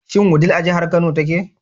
Shin Wudil a jihar Kano take?